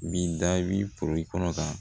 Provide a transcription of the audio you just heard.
Min da bi kɔnɔ ka